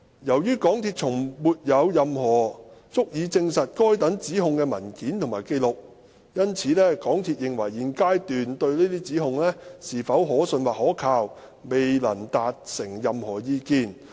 由於港鐵公司從沒有任何足以證實該等指控的文件或紀錄，因此港鐵公司現階段對這些指控是否可信或可靠，未能達成任何意見。